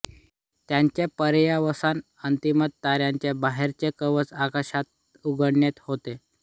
याचे पर्यवसान अंतिमत ताऱ्याचे बाहेरचे कवच अवकाशात उधळण्यात होते